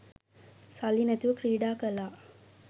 සල්ලි නැතුව ක්‍රීඩා කළා